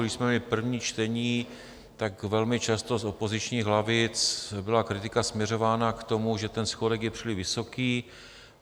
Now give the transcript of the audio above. Když jsme měli první čtení, tak velmi často z opozičních lavic byla kritika směřována k tomu, že ten schodek je příliš vysoký.